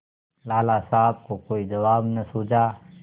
लाला साहब को कोई जवाब न सूझा